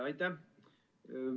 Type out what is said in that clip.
Aitäh!